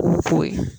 Foyi